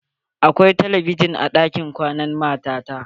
Akwai telebijin a ɗakin kwanan mata ta.